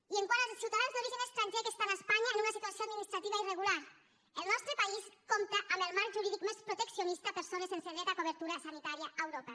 i quant als ciutadans d’origen estranger que estan a espanya en una situació administrativa irregular el nostre país compta amb el marc jurídic més proteccionista per a persones sense dret a cobertura sanitària a europa